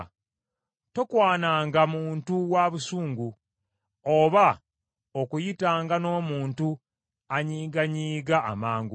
Tokwananga muntu wa busungu, oba okuyitanga n’omuntu anyiiganyiiga amangu,